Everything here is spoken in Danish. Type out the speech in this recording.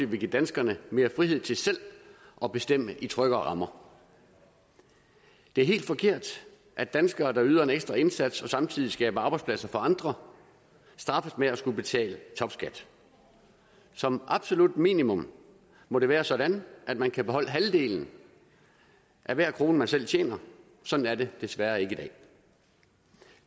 vil give danskerne mere frihed til selv at bestemme i tryggere rammer det er helt forkert at danskere der yder en ekstra indsats og samtidig skaber arbejdspladser for andre straffes med at skulle betale topskat som absolut minimum må det være sådan at man kan beholde halvdelen af hver krone man selv tjener sådan er det desværre ikke i dag